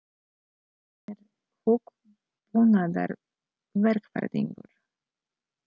Hann er hugbúnaðarverkfræðingur.